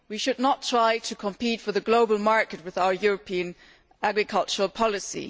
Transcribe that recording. We should not try to compete on the global market via our European agricultural policy.